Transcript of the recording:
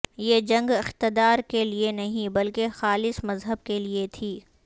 یہ جنگ اقتدار کے لئے نہیں بلکہ خالص مذہب کے لئے تھی